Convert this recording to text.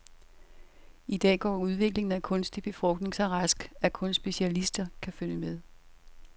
I dag går udviklingen af kunstig befrugtning så rask, at kun specialister kan følge med.